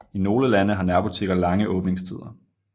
I nogle lande har nærbutikker lange åbningstider